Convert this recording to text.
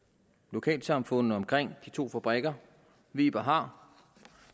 lokalsamfundene omkring de to fabrikker weber har